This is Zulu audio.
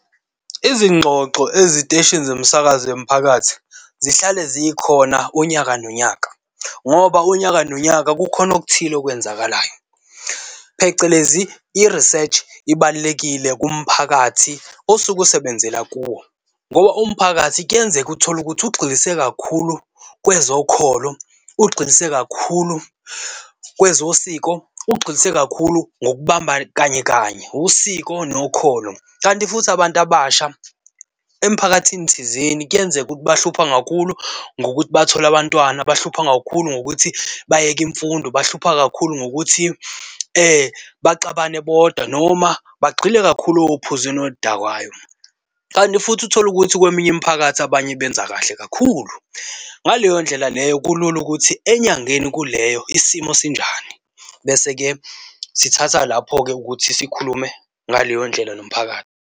Izingxoxo eziteshini zomsakazo yomphakathi zihlale zikhona unyaka nonyaka ngoba unyaka nonyaka kukhona okuthile okwenzakalayo phecelezi, i-research ibalulekile kumphakathi osuke usebenzela kuwo ngoba umphakathi kuyenzeka utholukuthi ukugxilise kakhulu kwezokholo, ugxilise kakhulu kwezosiko. Ukugxilisa kakhulu ngokubamba kanye kanye usiko nokholo. Kanti futhi abantu abasha emphakathini thizeni kuyenzeka ukuthi bahlupha kakhulu ngokuthi bathole abantwana, bahlupha kakhulu ngokuthi bayeke imfundo, bahlupha kakhulu ngokuthi baxabane bodwa noma bagxile kakhulu ophuzweni oludakayo. Kanti futhi utholukuthi kweminye imiphakathi abanye benza kahle kakhulu, ngaleyo ndlela leyo kulula ukuthi enyangeni kuleyo isimo sinjani, bese-ke sithatha lapho-ke ukuthi sikhulume ngaleyo ndlela nomphakathi.